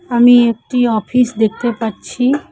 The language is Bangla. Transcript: আমি একটি অফিস দেখতে পাচ্ছি।